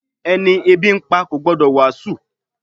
Ẹni ebi ń pa kò gbọ́ ìwàásù